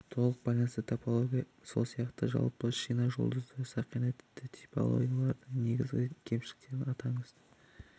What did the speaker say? толық байланысты топология сол сияқты жалпы шина жұлдызша сақина типті топологиялардың негізгі кемшіліктерін атаңыз